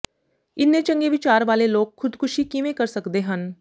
ਇੰਨੇ ਚੰਗੇ ਵਿਚਾਰ ਵਾਲੇ ਲੋਕ ਖੁਦਕੁਸ਼ੀ ਕਿਵੇਂ ਕਰ ਸਕਦੇ ਹਨ